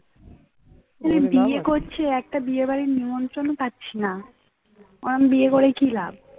এমন বিয়ে করে কি লাভ